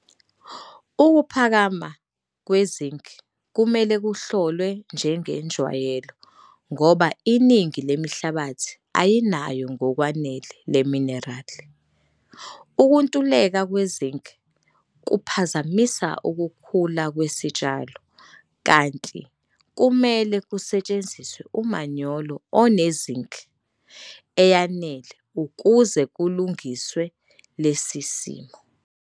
Ukuphakama kweZinc kumele kuhlolwe njengenjwayelo ngoba iningi lemihlabathi ayinayo ngokwanele leminerali. Ukuntuleka kweZinc kuphazamisa ukukhula kwesitshalo kanti kumele kusetsheniziswe umanyolo oneZinc eyanele ukuze kulungiswe lesi simo.